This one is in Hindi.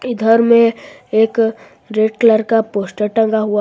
इधर में एक रेड कलर का पोस्टर टंगा हुआ है।